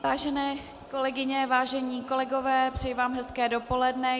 Vážené kolegyně, vážení kolegové, přeji vám hezké dopoledne.